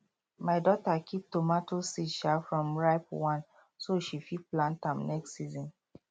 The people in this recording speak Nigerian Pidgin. my daughter keep tomato seed um from ripe one so she fit plant am next season